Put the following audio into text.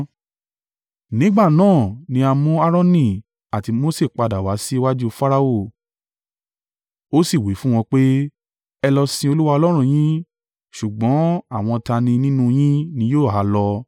Nígbà náà ni a mú Aaroni àti Mose padà wá sí iwájú Farao ó sì wí fún wọn pé, “Ẹ lọ sìn Olúwa Ọlọ́run yín. Ṣùgbọ́n àwọn ta ni nínú yín ni yóò ha lọ.”